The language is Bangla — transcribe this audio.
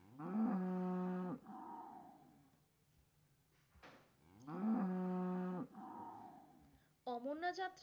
অমরনাথ যাত্ৰা!